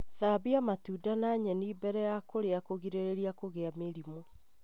Thambia matunda na nyeni mbere ya kũrĩa kũgirĩrĩria kũgĩa mĩrimũ.